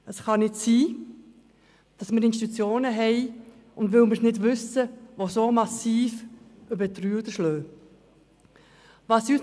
Es darf nicht sein, dass wir Institutionen haben, die so massiv über die Stränge schlagen, weil wir es nicht wissen.